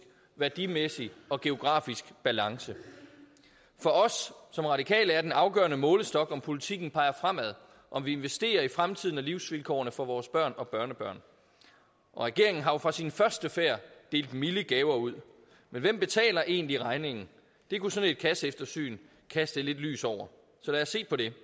værdimæssig og geografisk balance for os som radikale er den afgørende målestok om politikken peger fremad og om vi investerer i fremtiden og livsvilkårene for vores børn og børnebørn og regeringen har jo fra sin første færd delt milde gaver ud men hvem betaler egentlig regningen det kunne sådan et kasseeftersyn kaste lidt lys over så lad os se på det